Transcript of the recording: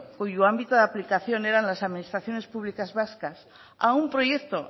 cuyo ámbito de aplicación eran las administraciones públicas vascas a un proyecto